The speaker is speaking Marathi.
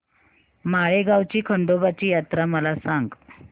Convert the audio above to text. माळेगाव ची खंडोबाची यात्रा मला सांग